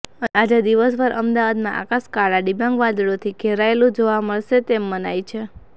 અને આજે દિવસભર અમદાવાદમાં આકાશ કાળા ડિબાંગ બાદળોથી ઘેરાયેલુ જોવા મળશે તેમ મનાય છે